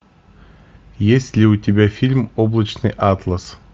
есть ли у тебя фильм облачный атлас